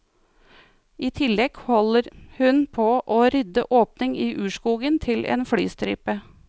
I tillegg holder hun på og rydde åpning i urskogen til en flystripe.